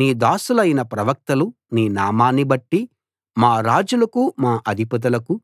నీ దాసులైన ప్రవక్తలు నీ నామాన్ని బట్టి మా రాజులకు మా అధిపతులకు